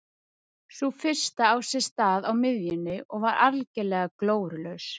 Sú fyrsta á sér stað á miðjunni og var algerlega glórulaus.